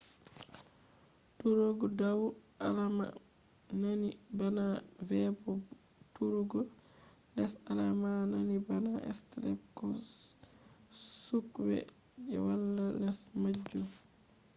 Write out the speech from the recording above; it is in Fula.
turugo dau” alama nandi bana v bo turugo les” alama nandi bana stepl ko suqwe je wala les majum